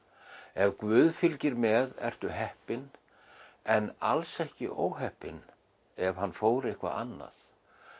ef guð fylgir með ertu heppinn en alls ekki óheppinn ef hann fór eitthvað annað